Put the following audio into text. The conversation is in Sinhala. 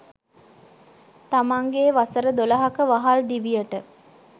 තමන්ගේ වසර දොළහක වහල් දිවියට